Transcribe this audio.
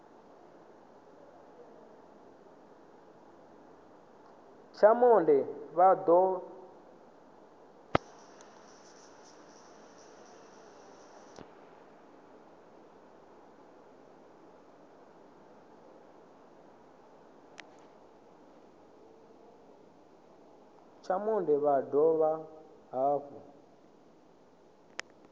tsha monde vha dovha hafhu